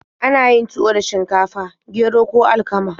Ana yin tuwo da shinkafa, gero, ko alkama.